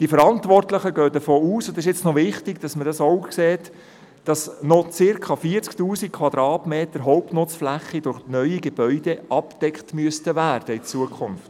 Die Verantwortlichen gehen davon aus – und es ist wichtig, dass man dies auch sieht –, dass in Zukunft noch circa 40 000 Quadratmeter Hauptnutzfläche durch neue Gebäude abgedeckt werden müssen.